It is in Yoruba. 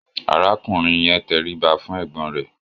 arákùnrin yẹ tẹriba fún ẹgbọn rẹ